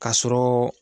Ka sɔrɔ